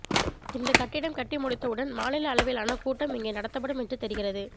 இந்த கட்டிடம் கட்டி முடித்தவுடன் மாநில அளவிலான கூட்டம் இங்கே நடத்தப்படும் என்று தெரிகிறது